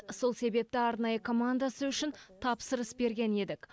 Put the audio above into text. сол себепті арнайы командасы үшін тапсырыс берген едік